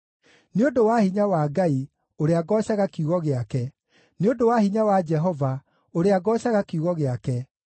Nĩ ũndũ wa hinya wa Ngai, ũrĩa ngoocaga kiugo gĩake, nĩ ũndũ wa hinya wa Jehova, ũrĩa ngoocaga kiugo gĩake,